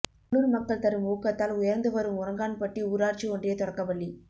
உள்ளூர் மக்கள் தரும் ஊக்கத்தால் உயர்ந்து வரும் உறங்கான்பட்டி ஊராட்சி ஒன்றிய தொடக்கப் பள்ளி